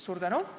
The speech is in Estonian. Suur tänu!